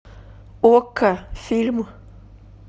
окко фильм